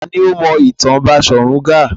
Ta ni ó mọ ìtàn Baṣọ̀run Gáà?